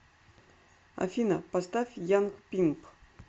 афина поставь янг пимп